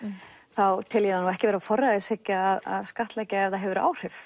þá tel ég það ekki vera forræðishyggju að skattleggja ef það hefur áhrif